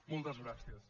moltes gràcies